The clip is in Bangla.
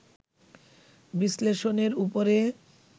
বিশ্লেষণের উপরে